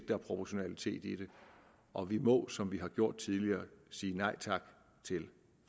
der er proportionalitet i det og vi må som vi har gjort tidligere sige nej tak til